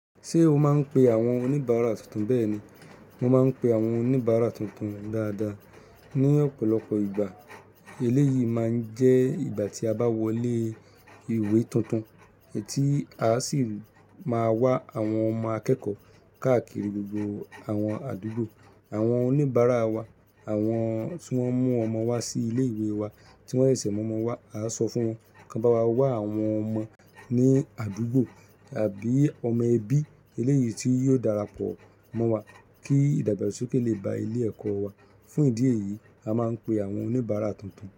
Ṣé o máa ń pe àwọn oníbàárà tuntun? Bẹ́ẹ̀ ni, mo máa ń pe àwọn oníbàárà tuntun dáadáa. Ni ọ̀pọ̀lọpọ̀ ìgbà, eléyìí máa ń jẹ́ ìgbà tí a bá wọlé ìwé tuntun, èyití a sì máa wá àwọn ọmọ akẹ́kọ̀ọ́ káàkiri gbogbo àwọn àdúgbò. Àwọn oníbàárà wa, àwọn tí wọ́n mú ọmọ wá sí ilé ìwé wa, tí wọ́n ṣẹ̀ṣẹ̀ mú ọmọ wá, a sọ fún wọn kí bá wá wá àwọn ọmọ ní àdúgbò àbí ọmọ ẹbí, eléyìí tí yóò darapọ̀ mọ́ wa kí ìdàgbàsókè lè ba ilé ẹ̀kọ́ wa. Fún ìdí èyí, a máa ń pe àwọn oníbàárà tuntun.